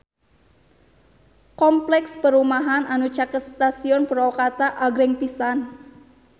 Kompleks perumahan anu caket Stasiun Purwakarta agreng pisan